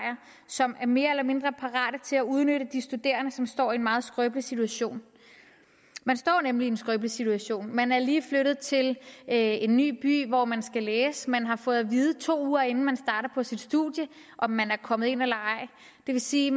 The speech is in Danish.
som er mere eller mindre parate til at udnytte de studerende som står i en meget skrøbelig situation man står nemlig i en skrøbelig situation man er lige flyttet til en ny by hvor man skal læse man har fået at vide to uger inden man starter på sit studium at man er kommet ind og det vil sige